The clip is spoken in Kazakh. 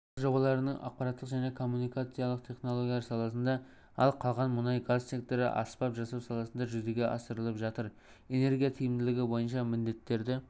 барлық жобаларының ақпараттық және коммуникациялық технологиялар саласында ал қалған мұнай-газ секторы аспап жасау саласында жүзеге асырылып жатыр энергия тиімділігі бойынша міндеттерді